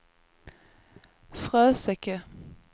Fröseke